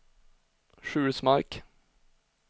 Sjulsmark